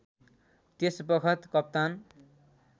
त्यसबखत कप्तान